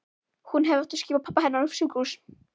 Hún hefði átt að skipa pabba hennar á sjúkrahús.